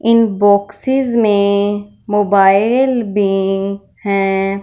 इन boxes में mobile भी हैं।